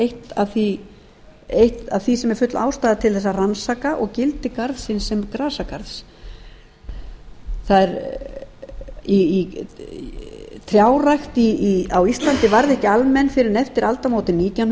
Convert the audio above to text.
eitt af því sem er full ástæða til þess að rannsaka og gildi garðsins sem grasagarðs trjárækt á íslandi varð ekki almenn fyrr en eftir aldamótin nítján